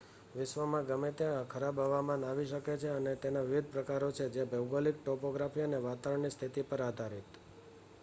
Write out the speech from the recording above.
વિશ્વમાં ગમે ત્યાં ખરાબ હવામાન આવી શકે છે અને તેના વિવિધ પ્રકારો છે જે ભૌગોલિક ટોપોગ્રાફી અને વાતાવરણની સ્થિતિ પર આધાર િત